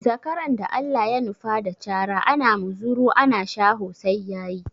Zakaran da Allah ya nufa da cara, ana muzuru ana shaho sai ya yi.